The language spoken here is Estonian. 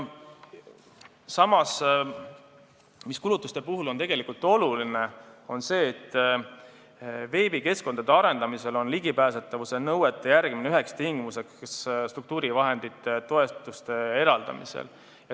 Samas, kulutuste puhul on oluline see, et veebikeskkondade arendamisel on ligipääsetavuse nõuete järgimine üheks tingimuseks struktuurivahendite toetuste eraldamisel.